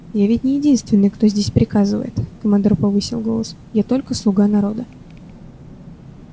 я ведь не единственный кто здесь приказывает командор повысил голос я только слуга народа